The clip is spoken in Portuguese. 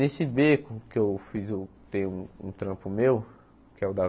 Nesse beco que eu fiz, eu tenho um trampo meu, que é o da